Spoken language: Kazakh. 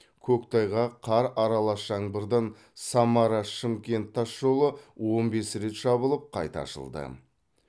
көктайғақ қар аралас жаңбырдан самара шымкент тасжолы он бес рет жабылып қайта ашылды